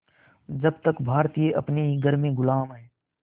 जब तक भारतीय अपने ही घर में ग़ुलाम हैं